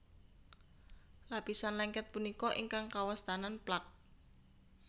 Lapisan lengket punika ingkang kawastanan plak